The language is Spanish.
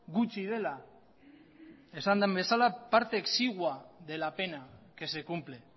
gutxi dela esan den bezala parte exigua de la pena que se cumple